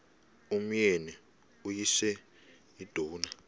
umyeni uyise iduna